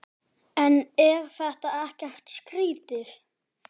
En er þetta ekkert skrýtið?